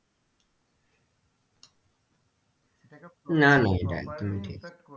না না এটা একদমই ঠিক।